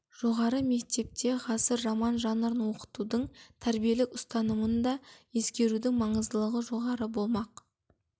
жоғары мектепте ғасыр роман жанрын оқытудың тәрбиелік ұстанымын да ескерудің маңыздылығы жоғары болмақ